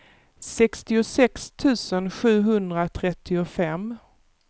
sextiosex tusen sjuhundratrettiofem